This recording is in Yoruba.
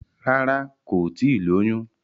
Rárá, kò tíì lóyún.